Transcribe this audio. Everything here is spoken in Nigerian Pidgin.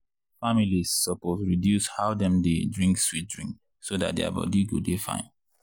families suppose reduce how dem dey drink sweet drink so dat their body go dey fine.